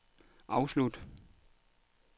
afslut